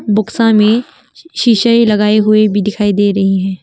बोक्सा में शीशे लगाए हुए भी दिखाई दे रहे हैं।